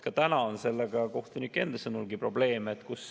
Ka praegu on sellega kohtunike enda sõnul probleeme.